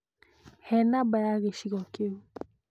He namba ya gĩcigo kĩu